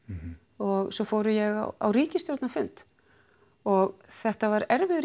og svo fór ég á ríkisstjórnarfund og þetta var erfiður